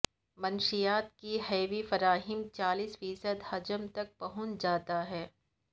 منشیات کے حیوی فراہمی چالیس فیصد حجم تک پہنچ جاتا ہے